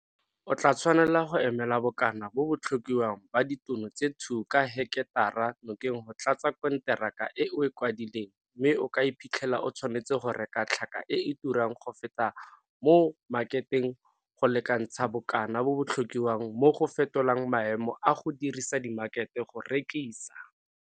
O tlaa tshwanela go emela bokana bo bo tlhokiwang ba ditono tse 2 ka heketara nokeng go tlatsa konteraka e o e kwadileng mme o ka iphitlela o tshwanetse go reka tlhaka e e turang go feta mo makheteng go lekantsha bokana bo bo tlhokiwang mo go fetolang maemo a go dirisa dimakhete go rekisa.